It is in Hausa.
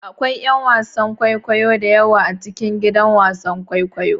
Akwai 'yan wasan kwaikwayo da yawa a cikin gidan wasan kwaikwayo.